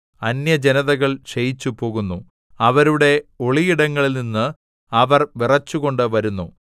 അന്യജനതകൾ ക്ഷയിച്ചുപോകുന്നു അവരുടെ ഒളിയിടങ്ങളിൽനിന്ന് അവർ വിറച്ചുകൊണ്ട് വരുന്നു